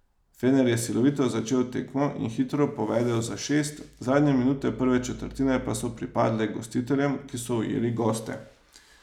Fener je silovito začel tekmo in hitro povedel za šest, zadnje minute prve četrtine pa so pripadle gostiteljem, ki so ujeli goste.